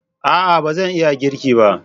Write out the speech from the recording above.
A'a! ba zan iya girki ba.